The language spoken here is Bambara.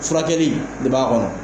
Furakɛli de b'a kɔnɔ.